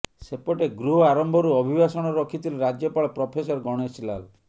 ସେପଟେ ଗୃହ ଆରମ୍ଭରୁ ଅଭିଭାଷଣ ରଖିଥିଲେ ରାଜ୍ୟପାଳ ପ୍ରଫେସର ଗଣେଶୀ ଲାଲ୍